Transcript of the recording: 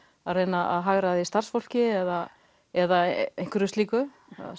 að reyna að hagræða starfsfólki eða eða einhverju slíku